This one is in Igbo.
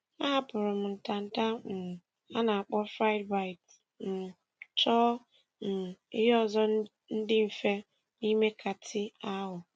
A hapụrụ m ntanta um a na akpọ friedbites, um chọọ um ihe ọzọ ndị mfe n;ime kàtị ahụ.